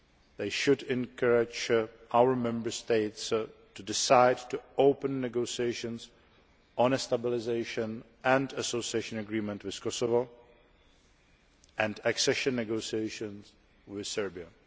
They should encourage our Member States to decide to open negotiations on a Stabilisation and Association Agreement with Kosovo, and accession negotiations with Serbia.